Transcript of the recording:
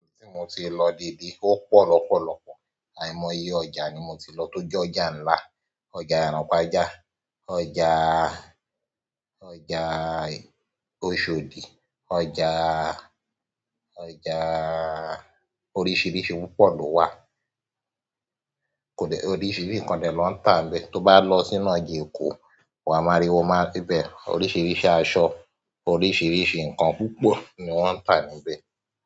Ibi tí mo ti lọ dìdí ó pọ̀ lọ́pọ̀lọ́pọ̀, àìmọye ọjà ni mo ti lọ tó jẹ́ ọjà ńlá, ọjà Yànpájá, ọjà, ọjà Oshòdì, ọjà, ọjà oríṣìíríṣìí púpọ̀ ló wà. Kò lè-- oríṣìíríṣìí nǹkan ni wọ́n ń tà níbẹ̀, tó bá lọ sínú ìjìnnà Èkó, wà máa rí, wà máa síbẹ̀ oríṣìíríṣìí aṣọ, oríṣìíríṣìí ǹkan púpọ̀ ni wọ́n ń tà níbẹ̀.